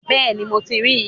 Bẹ́ẹ̀ni, mo ti ríi